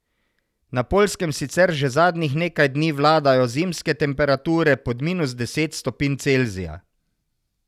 Na Poljskem sicer že zadnjih nekaj dni vladajo zimske temperature pod minus deset stopinj Celzija.